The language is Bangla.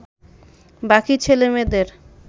বাকি ছেলেমেয়েদের